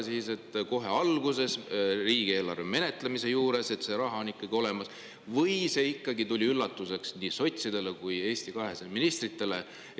Kas kohe alguses oli riigieelarve menetlemisel teada, et see raha, 100 miljonit, on ikkagi olemas, või see tuli üllatusena nii sotsidele kui Eesti 200 ministritele?